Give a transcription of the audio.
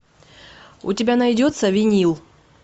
у тебя найдется винил